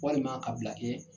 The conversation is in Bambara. Walima ka bila kɛ